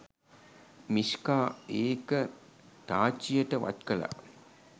මීෂ්කා ඒක තාච්චියට වත් කළා.